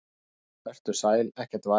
Vertu sæl, ekkert væl.